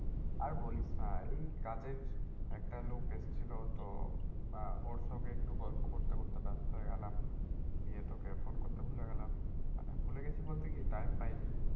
আর বলিস না এই কাজের একটা লোক এসছিল তো বা ওর সঙ্গে একটু গল্প করতে করতে ব্যস্ত হয়ে গেলাম। দিয়ে তোকে phone করতে ভুলে গেলাম। মানে ভুলে গেছি বলতে কি time পাইনি।